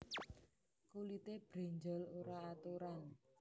Kulité brenjol ora aturan